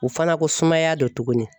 O fana ko sumaya do tuguni.